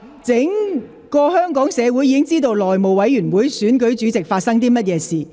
全港市民已經知道內務委員會選舉主席過程中發生了甚麼事。